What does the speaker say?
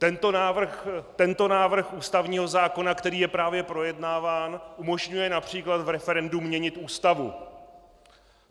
Tento návrh ústavního zákona, který je právě projednáván, umožňuje například v referendu měnit Ústavu.